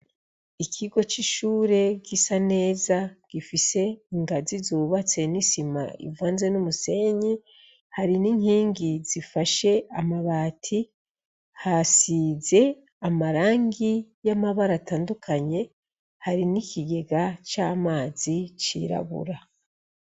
Ikigo c'ishure gisa neza gifise ingazi zubatse n'isima ivanze n'umusenyi hari n'inkingi zifashe amabati hasize amarangi y'amabara atandukanye hari n'ikigega c'amazi cirabura.